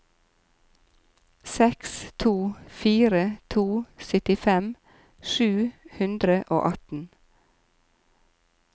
seks to fire to syttifem sju hundre og atten